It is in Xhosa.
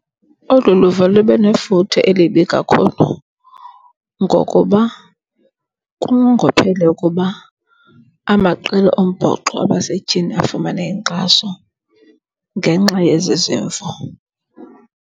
Olu luvo libe nefuthe elibi kakhulu ngokuba kungophele ukuba amaqela ombhoxo abasetyhini afumane inkxaso ngenxa yezi zimvo.